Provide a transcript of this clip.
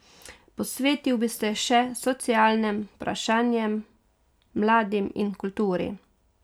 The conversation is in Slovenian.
Posvetil bi se še socialnim vprašanjem, mladim in kulturi.